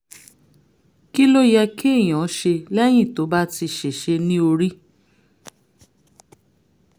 kí ló yẹ kéèyàn ṣe lẹ́yìn tó bá ti ṣèṣe ní orí?